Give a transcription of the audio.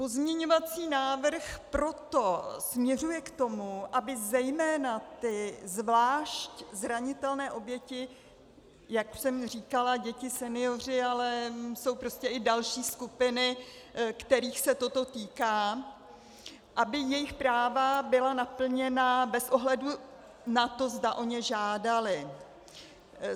Pozměňovací návrh proto směřuje k tomu, aby zejména ty zvlášť zranitelné oběti, jak jsem říkala, děti, senioři, ale jsou prostě i další skupiny, kterých se toto týká, aby jejich práva byla naplněna bez ohledu na to, zda o ně žádaly.